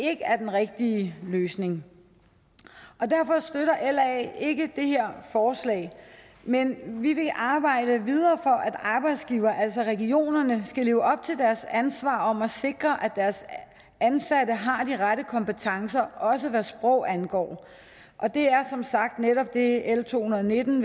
er den rigtige løsning og derfor støtter la ikke de her forslag men vil arbejde videre for at arbejdsgiverne altså regionerne skal leve op til deres ansvar om at sikre at deres ansatte har de rette kompetencer også hvad sprog angår og det er som sagt netop det l to hundrede og nitten